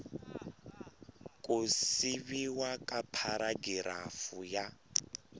ku siviwa ka pharagirafu ya